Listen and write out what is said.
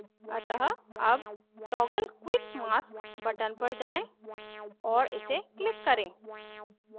अतः अब toggle quick mask button पर जाएँ और इसे click करें